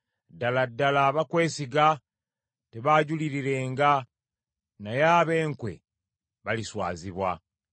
Ddala ddala abakwesiga tebaajulirirenga, naye ab’enkwe baliswazibwa.